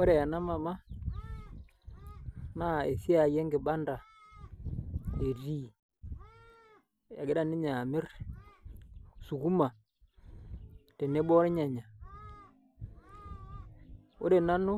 Ore ena mama naa esiai enkibanda etii, egira ninye amirr sukuma tenebo olnyanya ore nanu